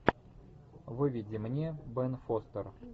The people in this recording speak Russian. выведи мне бен фостер